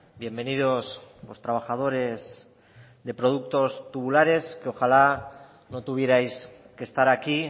bienvenidos los trabajadores de productos tubulares que ojalá no tuvierais que estar aquí